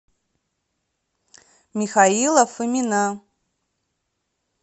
михаила фомина